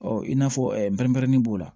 Ɔ i n'a fɔ npɛrɛnin b'o la